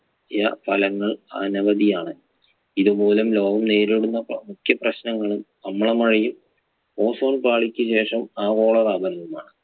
ഫലങ്ങൾ അനവതിയാണ് ഇതുമൂലം ലോകം നേരിടുന്ന മുഖ്യ പ്രശ്നങ്ങൾ അമ്ലമഴയും ozone പാളിക്ക് ശേഷം ആഗോളതാപനവും ആണ്.